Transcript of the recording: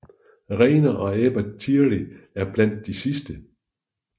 Rainer og Ebba Thierry er blandt de sidste